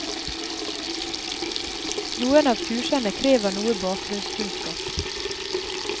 Noen av kursene krever noe bakgrunnskunnskap.